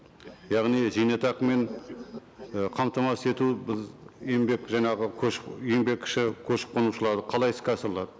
яғни зейнетақымен і қамтамасыз ету еңбек жаңағы еңбекші көшіп қонушыларды қалай іске асырылады